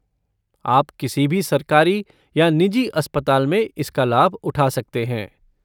आप किसी भी सरकारी या निजी अस्पताल में इसका लाभ उठा सकते हैं।